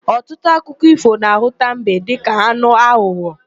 Ọtụtụ akụkọ ífò na-ahụta mbe dịka anụ aghụghọ.